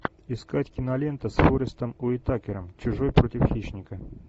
искать кинолента с форестом уитакером чужой против хищника